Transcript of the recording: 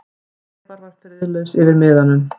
Sævar var friðlaus yfir miðanum.